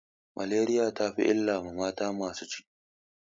Maleriya ta fi illa ma mata masu ciki.